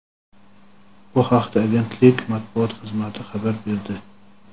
Bu haqda agentlik Matbuot xizmati xabar berdi.